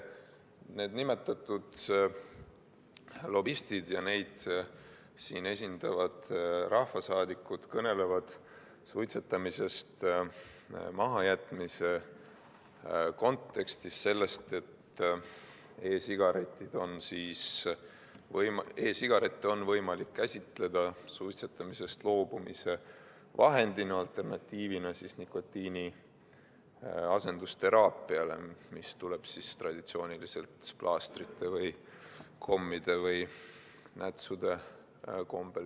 Need nimetatud lobistid ja neid siin esindavad rahvasaadikud kõnelevad suitsetamise mahajätmise kontekstis sellest, et e-sigarette on võimalik käsitleda suitsetamisest loobumise vahendina, alternatiivina nikotiiniasendusteraapiale, mis tuleb traditsiooniliselt plaastrite või kommide või nätsude näol.